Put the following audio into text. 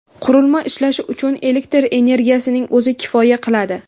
Qurilma ishlashi uchun elektr energiyasining o‘zi kifoya qiladi.